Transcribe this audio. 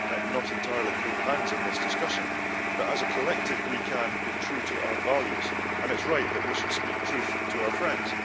not entirely clean hands in this discussion but as a collective we can be true to our values and it is right that we should speak truth to our friends.